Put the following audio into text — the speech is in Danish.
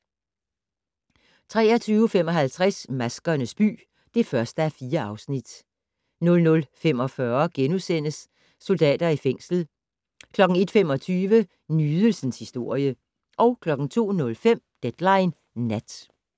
23:55: Maskernes by (1:4) 00:45: Soldater i fængsel * 01:25: Nydelsens historie 02:05: Deadline Nat